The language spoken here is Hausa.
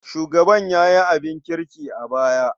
Shugaban ya yi abin kirki a baya.